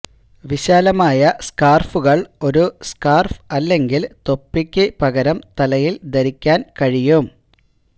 വിശാലമായ സ്കാർഫുകൾ ഒരു സ്കാർഫ് അല്ലെങ്കിൽ തൊപ്പിക്ക് പകരം തലയിൽ ധരിക്കാൻ കഴിയും